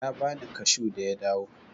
Ya bani kashu da ya dawo.